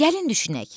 Gəlin düşünək.